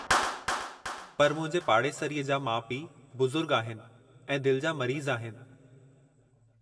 पर मुंहिंजे पाड़ेसरीअ जा माउ पीउ बुज़ुर्ग आहिनि ऐं दिलि जा मरीज़ आहिनि।